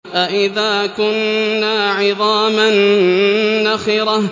أَإِذَا كُنَّا عِظَامًا نَّخِرَةً